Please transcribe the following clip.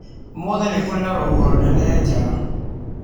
Ũmũthĩ nĩ kũrĩ na rũhuho rũnene nja.